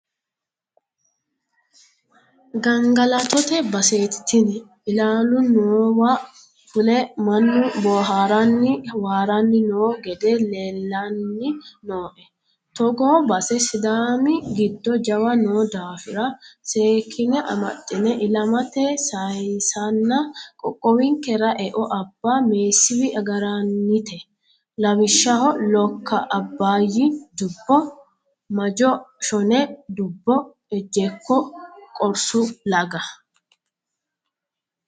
Gangalattote baseti tinni ilalu noowa fule mannu booharanni waarani no gede leellani nooe, togoo base sidaami giddo jawa noo daafira seekkine amaxine ilamate sayisanna qoqqowinkera eo abba meesiwi agaranite, lawishshaho lokka abbayi dubbo, majo shone dubbo, ejjeekko qorsu laga.